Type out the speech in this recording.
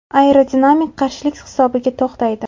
Aerodinamik qarshilik hisobiga to‘xtaydi.